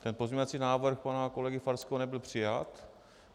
Ten pozměňovací návrh pana kolegy Farského nebyl přijat.